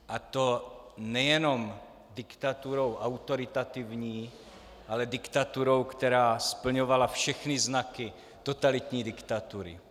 A to nejenom diktaturou autoritativní, ale diktaturou, která splňovala všechny znaky totalitní diktatury.